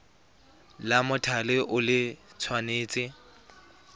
la mothale o le tshwanetse